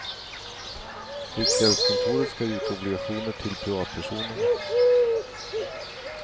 Riksgäldskontoret ska ge ut obligationer till privatpersoner.